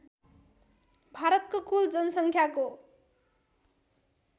भारतको कुल जनसङ्ख्याको